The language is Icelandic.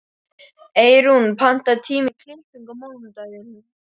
Eyrún, pantaðu tíma í klippingu á mánudaginn.